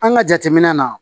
An ka jateminɛ na